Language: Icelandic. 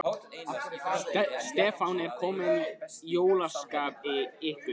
Stefán: Er komið jólaskap í ykkur?